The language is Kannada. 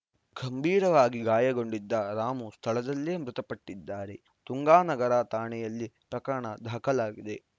ಗಂಭೀರವಾಗಿ ಗಾಯಗೊಂಡಿದ್ದ ರಾಮು ಸ್ಥಳದಲ್ಲೇ ಮೃತಪಟ್ಟಿದ್ದಾರೆ ತುಂಗಾನಗರ ಠಾಣೆಯಲ್ಲಿ ಪ್ರಕರಣ ದಾಖಲಾಗಿದೆ